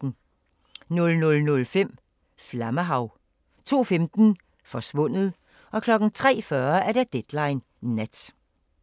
00:05: Flammehav 02:15: Forsvundet 03:40: Deadline Nat